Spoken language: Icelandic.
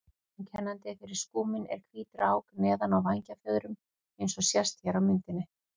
Einkennandi fyrir skúminn er hvít rák neðan á vængfjöðrum eins og sést hér á myndinni.